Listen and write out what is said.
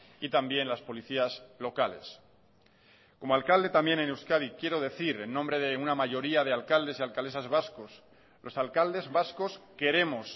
y también las policías locales como alcalde también en euskadi quiero decir en nombre de una mayoría de alcaldes y alcaldesas vascos los alcaldes vascos queremos